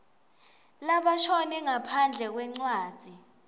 labashone ngaphandle kwencwadzi